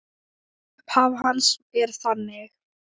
Upphaf hans er þannig